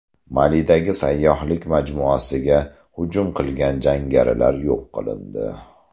Malidagi sayyohlik majmuasiga hujum qilgan jangarilar yo‘q qilindi.